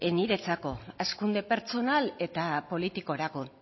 niretzako hazkunde pertsonal eta politikorako